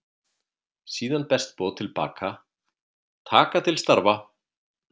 Síðan berst boð til baka: Taka til starfa.